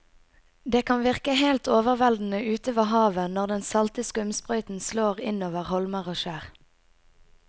Det kan virke helt overveldende ute ved havet når den salte skumsprøyten slår innover holmer og skjær.